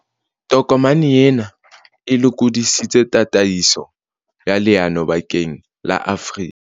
Tokomane ena e lokodisitse tataiso ya leano bakeng la Afrika